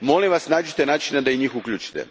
Molim vas, pronađite način da i njih uključite.